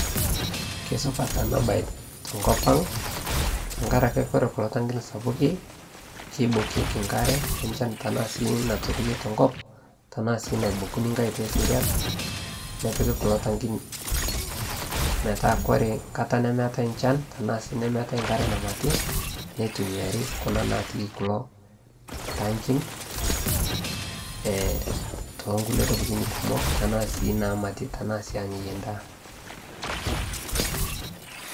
keisupat anaa bai tenkopang tankarake kore kulo tankin sapuki keibokieki nkare enchan tanaa sii naturuni te nkop tanaa sii naibokuni ng'hai te seriak nepiki kulo tankin metaa kore nkatai nemeatai nchan tanaa sii nemeatai nkare namatii neitumiarii kuna natii kuloo tankin tonkulie tokitin kumoo tanaa sii namatii tanaa sii anyayie ndaa